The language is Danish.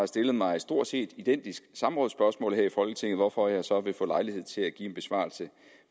stillet mig et stort set identisk samrådsspørgsmål her i folketinget hvorfor jeg så vil få lejlighed til at give en besvarelse